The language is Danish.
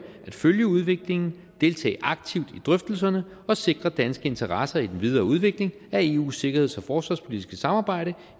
at følge udviklingen deltage aktivt i drøftelserne og sikre danske interesser i den videre udvikling af eu’s sikkerheds og forsvarspolitiske samarbejde